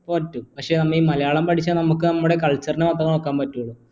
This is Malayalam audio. പറ്റും പക്ഷേ നമ്മ ഈ മലയാളം പഠിച്ചാൽ നമുക്ക് നമ്മുടെ culture നെ മാത്രേ നോക്കാൻ പറ്റു